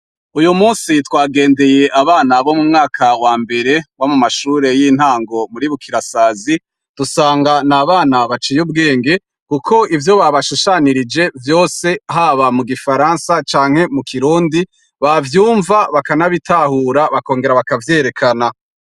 Uyumunsi twagendeye abana bo mumwaka wambere w'amashure y'intango muri Bukirasazi dusanga n'abana baciye ubwenge kuko ivyo baba shushanirije vyose haba mu Gifaransa canke mu Kirundi bavyumva bakanabitahura bakongera bakavyerekana.